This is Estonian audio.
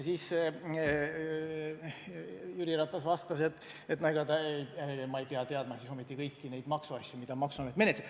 Jüri Ratas vastas, et ta ei pea ometi teadma kõiki maksuasju, mida maksuamet menetleb.